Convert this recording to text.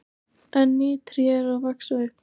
En ný tré eru að vaxa upp.